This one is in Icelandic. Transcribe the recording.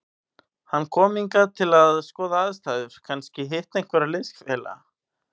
Hann kom hingað til að skoða aðstæður, kannski hitta einhverja liðsfélaga.